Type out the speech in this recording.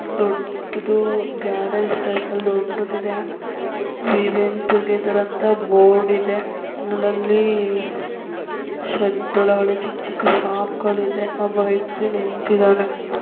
ದೊಡ್ದುದು garage ಟೈಫಾಲಿ ದೊಡ್ದುದು ಇದೆ. ವೀ ವೆಂಟ್ ಟುಗೆದರ್ ಅಂತ ಬೋರ್ಡ್ ಇದೆ. ಅಲ್ಲಲ್ಲಿ ಶೆಡ್ ಒಳಗಡೆ ಚಿಕ್ಕ್ ಚಿಕ್ಕು ಶಾಪ್ಗಳು ಇದೆ ಒಬ್ಬ ವ್ಯಕ್ತಿ ನಿಂತಿದ್ದಾನೆ.